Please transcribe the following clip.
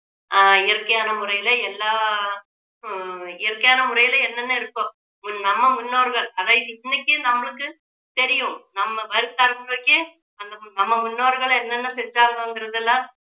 ஆஹ் இயற்கையான முறையில எல்லா உம் இயற்கையான முறையில என்னென்ன இருக்கோ உம் நம்ம முன்னோர்கள் அதை இன்னைக்கும் நம்மளுக்கு தெரியும் நம்ம வரும் தலைமுறைக்கு அந்த நம்ம முன்னோர்கள் என்னென்ன செஞ்சாங்கங்குறதெல்லாம்